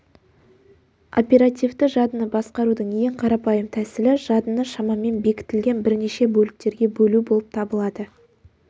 оперативті жадыны басқарудың ең қарапайым тәсілі жадыны шамамен бекітілген бірнеше бөліктерге бөлу болып табылады